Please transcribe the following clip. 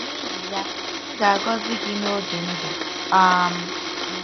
N'ihi ya, m ga-agọzi gị n'oge ndụ um m. ”